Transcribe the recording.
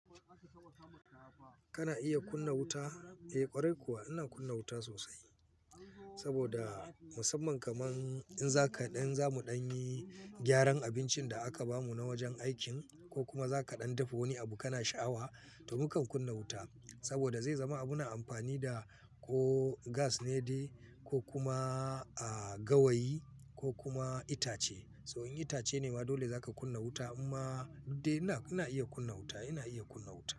Kana iya kunna wuta? Eh ƙwarai kuwa ina kunna wuta sosai. Saboda musamman kaman in za kaɗan zamu ɗan yi gyaran abincin da aka bamu na wajen aikin ko kuma za kaɗan dafa wani abu kana sha'awa to mukan kunna wuta. Saboda zai zama abuna amfani da ko gas ne dai ko kuma gawayi ko kuma itace. So in itace ne ma dole za ka kunna wuta. Amma duk dai ina iya kunna wuta, ina iya kunna wuta.